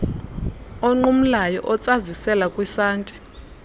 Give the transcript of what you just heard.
onqumlayo otsazisela kwisanti